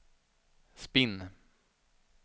spinn